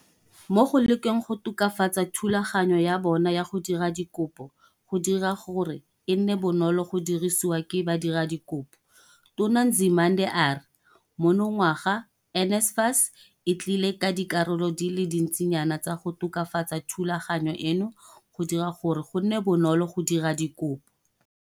Mo go lekeng go tokafatsa thulaganyo ya bona ya go dira dikopo go dira gore e nne bonolo go dirisiwa ke badiradikopo, Tona Nzimande a re monongwaga NSFAS e tlile ka dikarolo di le dintsinyana tsa go tokafatsa thulaganyo eno go dira gore go nne bonolo go dira dikopo.